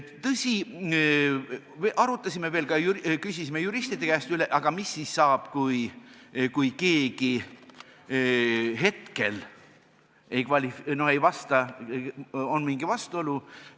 Tõsi, arutasime ja küsisime ka veel juristide käest üle, et mis saab siis, kui keegi hetkel nõuetele ei vasta või esineb mingi vastuolu.